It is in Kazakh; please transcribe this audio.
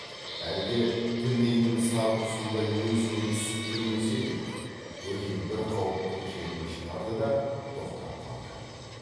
әлде тінейдің сар құсындай өзіңе түсіп жүрмесе деп бөжей бір қауыптың шетін шығарды да тоқтап қалды